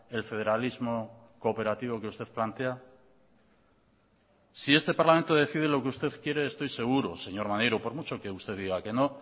el federalismo cooperativo que usted plantea si este parlamento decide lo que usted quiere estoy seguro señor maneiro por mucho que usted diga que no